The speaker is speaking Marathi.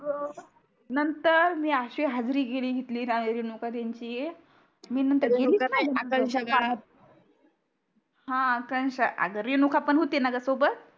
नंतर मी आशी हाजरी घेतली णा रेणुका त्यांची मी नंतर गेलीच नाही रेणुका नाही आकांक्षा ग हा आकांक्षा अग रेणुका पण होतीणा ग सोबत